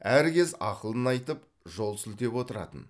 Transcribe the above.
әркез ақылын айтып жол сілтеп отыратын